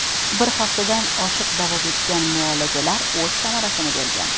Bir haftadan oshiq davom etgan muolajalar o‘z samarasini bergan.